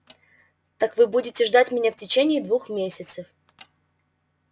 там вы будете ждать меня в течение двух месяцев